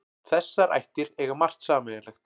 Þessar ættir eiga margt sameiginlegt.